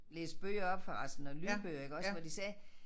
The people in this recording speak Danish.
Læse bøger op for altså når lydbøger iggås hvor de sagde